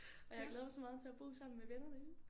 Og jeg glæder mig så meget til at bo sammen med vennerne ik